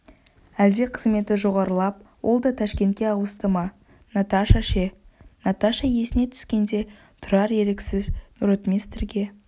әлде қызметі жоғарылап ол да ташкентке ауысты ма наташа ше наташа есіне түскенде тұрар еріксіз ротмистрге